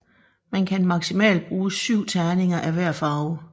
Man kan maksimalt bruge syv terninger af hver farve